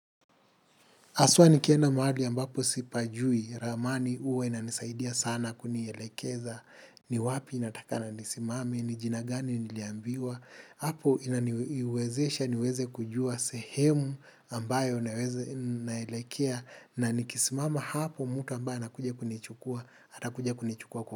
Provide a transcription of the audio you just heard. Aswa nikienda mahali ambapo sipajui, ramani uwa inanisaidia sana kunielekeza, ni wapi inataka na nisimame, ni jina gani niliambiwa, hapo inaniwezesha, niweze kujua sehemu ambayo naweze naelekea na nikisimama hapo mutu ambaye anakuja kunichukua, atakuja kunichukua kwa.